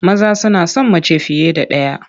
Maza suna son mace fiye da ɗaya.